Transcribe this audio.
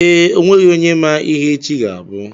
Ee, onweghị onye ma ihe echi ga abụ